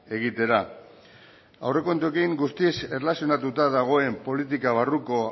egitera aurrekontuekin guztiz erlazionatuta dagoen politika barruko